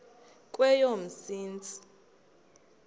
kweyomsintsi